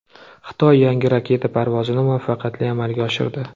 Xitoy yangi raketa parvozini muvaffaqiyatli amalga oshirdi.